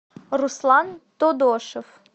руслан тодошев